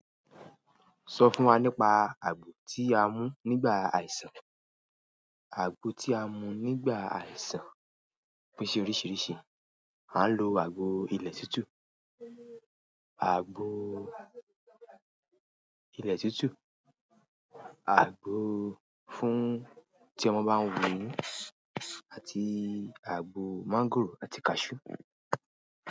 Sọ fún wa nípa àgbo tí a mú nígbà àìsàn. Àgbo tí a mu nígbà àìsàn pín sí oríṣiríṣi, à lọ àgbo ilè tútù, àgbo ilẹ̀ tútù, àgbo fún tí ọmọ bá ń wù eyín àti àgbo máńgòrò àti kaṣú.